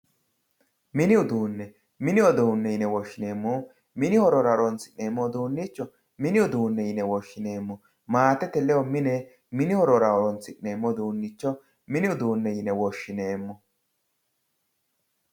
Mini uduune mini uduune yine woshineemori mini horora horonsineemo uduunicho moni uduune yine woshineemo maatete ledo mini horora horonsinemo uduunicho mini uduune yine woshineemo